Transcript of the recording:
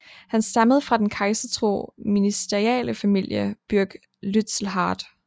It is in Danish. Han stammede fra den kejsertro ministerialefamilie Burg Lützelhardt